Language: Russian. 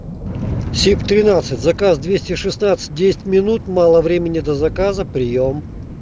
сип тринадцать заказ двести шестнадцать десять минут мало времени до заказа приём